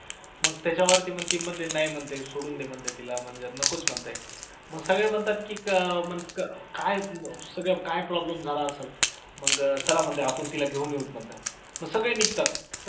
मग त्याच्यावरती म्हणते ते नाही म्हणते सोडून दे म्हणते तिला नकोच म्हणतात मग सगळेच म्हणतात की का काय सगळं काय problem झाला असेल, मग चला म्हणतात आपण तिला घेऊन येऊ म्हणतात, मग सगळे निघतात